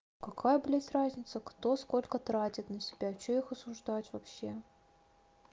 какая блять разница кто сколько тратит на себя что их осуждать вообще